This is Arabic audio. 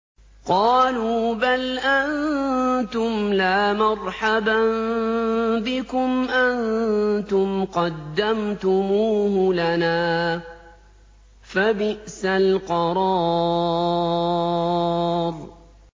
قَالُوا بَلْ أَنتُمْ لَا مَرْحَبًا بِكُمْ ۖ أَنتُمْ قَدَّمْتُمُوهُ لَنَا ۖ فَبِئْسَ الْقَرَارُ